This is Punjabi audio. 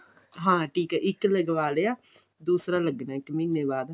ਹਾਂ ਟੀਕਾ ਇੱਕ ਲਗਵਾ ਲਿਆ ਦੂਸਰਾ ਲੱਗਣਾ ਇੱਕ ਮਹੀਨੇ ਬਾਅਦ